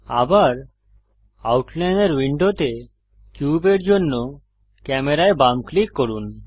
আবার আউটলাইনর উইন্ডোতে কিউবের জন্য ক্যামেরায় বাম ক্লিক করুন